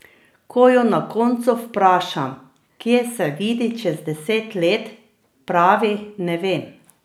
Ko jo na koncu vprašam, kje se vidi čez deset let, pravi: "Ne vem.